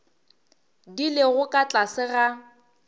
di lego ka tlase ga